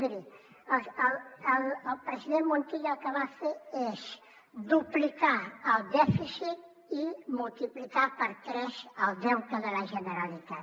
miri el president montilla el que va fer és duplicar el dèficit i multiplicar per tres el deute de la generalitat